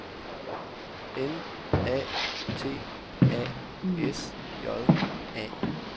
N A T A S J A